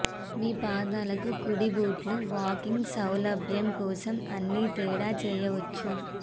మీ పాదాలకు కుడి బూట్లు వాకింగ్ సౌలభ్యం కోసం అన్ని తేడా చేయవచ్చు